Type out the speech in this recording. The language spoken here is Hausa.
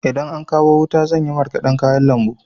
Idan an kawo wuta zan yi marƙadan kayan lambu.